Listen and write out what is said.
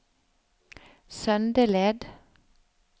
Søndeled